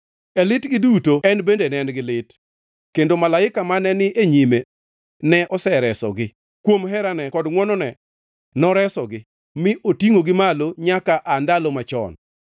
E litgi duto en bende ne en gi lit kendo malaika mane ni e nyime ne oresogi. Kuom herane kod ngʼwonone neresogi; mi otingʼogi malo nyaka aa ndalo machon.